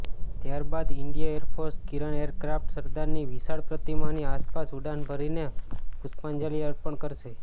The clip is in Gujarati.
ત્યારે બાદ ઈન્ડિય એરફોર્સના કિરન એરક્રાફ્ટ સરદારની વિશાળ પ્રતિમાની આસપાસ ઉડાન ભરીને પુષ્પાંજલી અર્પણ કરશે